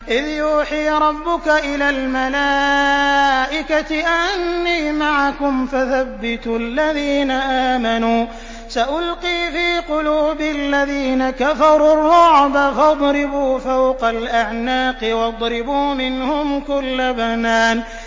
إِذْ يُوحِي رَبُّكَ إِلَى الْمَلَائِكَةِ أَنِّي مَعَكُمْ فَثَبِّتُوا الَّذِينَ آمَنُوا ۚ سَأُلْقِي فِي قُلُوبِ الَّذِينَ كَفَرُوا الرُّعْبَ فَاضْرِبُوا فَوْقَ الْأَعْنَاقِ وَاضْرِبُوا مِنْهُمْ كُلَّ بَنَانٍ